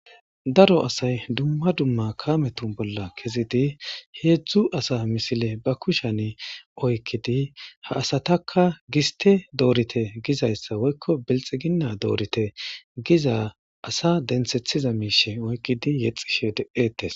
Daro asay dumma dumma kametun bolla kezidi heedzdzu asa misile ba kushen oykkidi ha asataka giste doorite gizayssa woykko belxiginna doorite giza asa dentsethiza miishe oykkidi yexxishe de7etes.